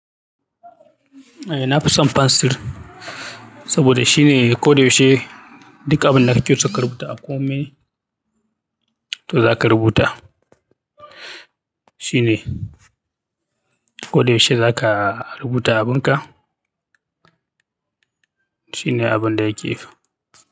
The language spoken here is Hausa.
Eh nafi son fensir saboda shine ko da yaushe duk abinda ka ke so ka rubuta a komai, to zaka rubuta. Shine ko da yaushe zaka rubuta abin ka, shine abun da yake.